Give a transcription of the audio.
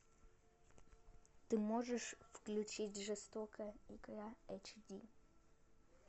ты можешь включить жестокая игра эйч ди